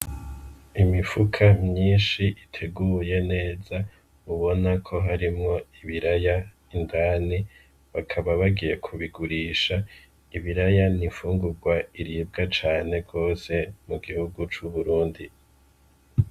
Imifuko myinshi iteguye neza ubona yuko harimwo ibiraya indani bakaba bagiye kubigurisha ni imfungugwa iribwa cane gose mu gihugu c'uburundi.